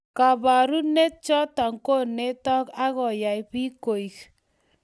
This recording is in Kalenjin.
Kabarunet chotok konetok akoyai bik koek